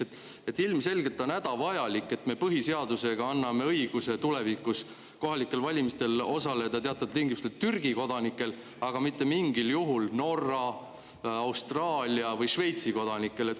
Näiteks ilmselgelt on hädavajalik, et me põhiseadusega anname tulevikus õiguse teatavatel tingimustel kohalikel valimistel osaleda Türgi kodanikel, aga mitte mingil juhul Norra, Austraalia või Šveitsi kodanikel.